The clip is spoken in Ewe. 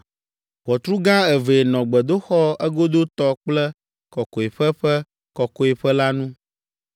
Ʋɔtru gã evee nɔ gbedoxɔ egodotɔ kple Kɔkɔeƒe ƒe Kɔkɔeƒe la nu.